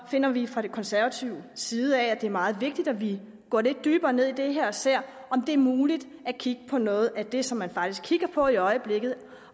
finder vi fra konservativ side at det er meget vigtigt at vi går lidt dybere ned i det her og ser om det er muligt at kigge på noget af det som man faktisk kigger på i øjeblikket